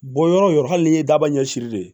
Bon yɔrɔ yɔrɔ hali n'i ye daba ɲɛsin de